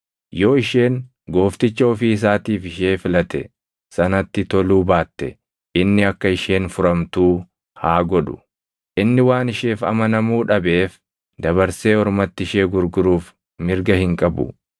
Yoo isheen goofticha ofii isaatiif ishee filate sanatti toluu baatte inni akka isheen furamtuu haa godhu. Inni waan isheef amanamuu dhabeef dabarsee ormatti ishee gurguruuf mirga hin qabu.